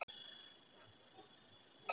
Ég er alls ekki viss um að svo sé.